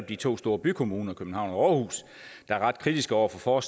de to store bykommuner københavn og aarhus der er ret kritiske over for